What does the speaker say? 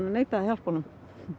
neitaði að hjálpa honum